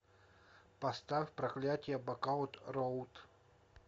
поставь проклятие бакаут роуд